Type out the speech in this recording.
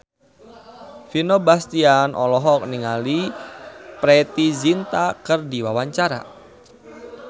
Vino Bastian olohok ningali Preity Zinta keur diwawancara